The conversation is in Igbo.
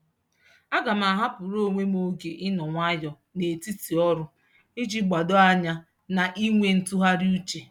Aga m ahapụrụ onwe m oge ịnọ nwayọọ n'etiti ọrụ iji gbado anya na inwe ntụgharịuche.